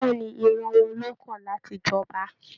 Bẹ̀ẹ́ni, ìran wọn ló kan láti j'ọba.